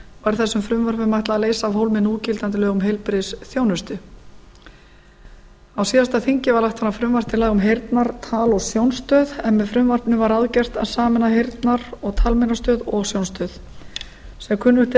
er þessum frumvörpum ætlað að leysa af hólmi núgildandi lög um heilbrigðisþjónustu á síðasta löggjafarþingi var lagt fram frumvarp til laga um heyrnar tal og sjónstöð en með frumvarpinu var gert ráð fyrir að heyrnar og talmeinastöð og sjónstöð yrðu sameinaðar eins og kunnugt er